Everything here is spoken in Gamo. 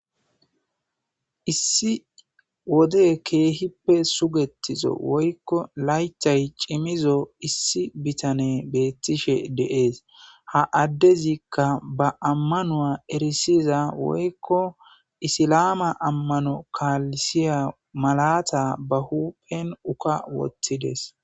issi wode keehippe sugetizo woykko laythay cimizo issi bitane beettishe de'ees ha addezikka ba ammanua erisiza woykko isilama ammano kaalisiya malata ba huphen uka wothides